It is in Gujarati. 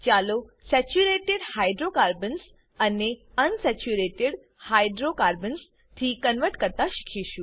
ચાલો સેચુંરેટેડ હાઈડ્રોકાર્બન્સ ને અનસેચુંરેટેડ હાઈડ્રોકાર્બન્સ થી કન્વર્ટ કરતા શીખીશું